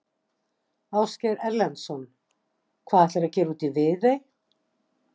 Ásgeir Erlendsson: Hvað ætlarðu að gera úti í Viðey?